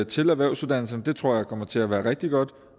til erhvervsuddannelserne det tror jeg kommer til at blive rigtig godt